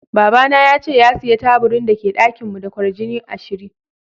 Baba na yace ya siya taburin da ke dakin mu da kwarjini ashirin.